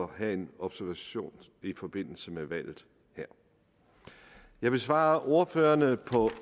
have en observation i forbindelse med valget her jeg vil svare ordførerne på